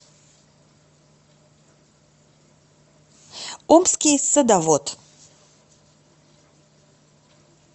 омский садовод